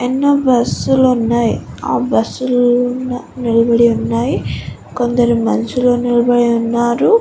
ఎన్నో బస్ లు ఉన్నాయ్. ఆ బస్ లు నిలబడి ఉన్నాయ్. కొందరు మనుషులు నిలబడి ఉన్నారు.